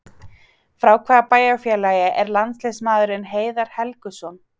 Frá hvaða bæjarfélagi er landsliðsmaðurinn Heiðar Helguson?